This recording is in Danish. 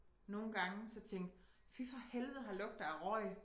Nogle gange så tænke fy for helvede her lugter af røg